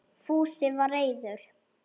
Fúsi var reiður.